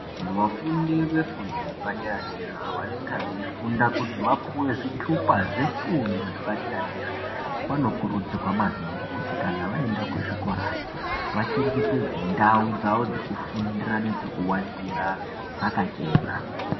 Vafundi vefundo yepadera dera vanonga veifunda kuti vapuwe zvitupa zvefundo yepadera dera vanokurudzirwa maningi kuti kana vaenda kuzvikorayo vachengetedze ndau dzawo dzekufundira nedzekuwatira dzakachena.